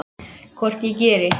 Hvort ég geri!